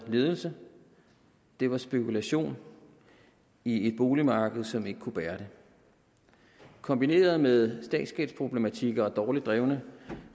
ledelse det var spekulation i et boligmarked som ikke kunne bære det kombineret med statsgældsproblematikker og dårligt drevne